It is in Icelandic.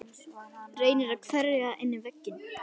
Reynir að hverfa inn í vegginn.